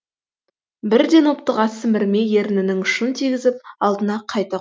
бірден оптыға сімірмей ерінінің ұшын тигізіп алдына қайта қойды